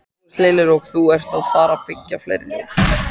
Magnús Hlynur: Og þú ert að fara byggja fleiri fjós?